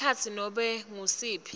ekhatsi nobe ngusiphi